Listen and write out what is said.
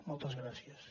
moltes gràcies